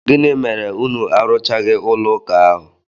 Gịnị mere unu arụchaghị ụlọụka ahụ?